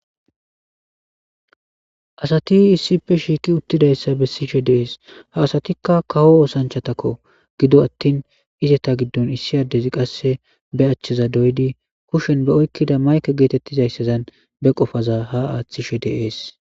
asati issippe shiiki uttidayssa be sishe deees ha asatikka kaho oosanchatakko gido attin izeta giddon issi addezi qasse be achcheza doydi kushen be oykkida mayke geetettizayssazan be qofaza ha aaththishe deees